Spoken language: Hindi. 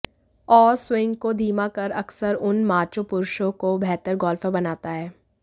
और स्विंग को धीमा कर अक्सर उन माचो पुरुषों को बेहतर गोल्फर बनाता है